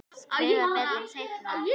Skrifa betur seinna.